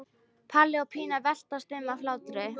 Palli og Pína veltast um af hlátri.